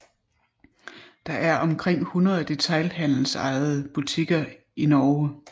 Der er omkring 100 detailhandelsejede butikker i Norge